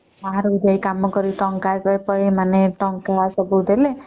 ବାହାରକୁ ଯାଇକି ଟଙ୍କା ସବୁ ଦେଲେ